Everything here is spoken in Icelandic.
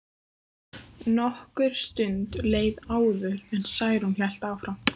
Nokkur stund leið áður en Særún hélt áfram.